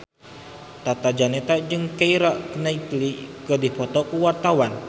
Tata Janeta jeung Keira Knightley keur dipoto ku wartawan